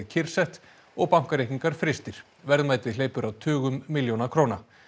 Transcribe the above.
kyrrsett og bankareikningar frystir verðmæti hleypur á tugum milljóna króna